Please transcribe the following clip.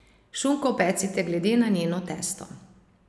Šunko pecite glede na njeno testo.